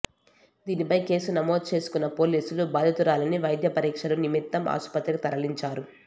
దీనిపై కేసు నమోదు చేసుకున్న పోలీసులు బాధితురాలిని వైద్య పరీక్షల నిమిత్తం ఆసుపత్రికి తరలించారు